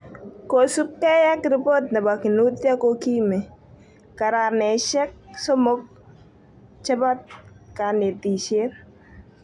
Kosupkei ak ripot nepo Kinuthia kokimi. garameshek somoku chepo kanetishet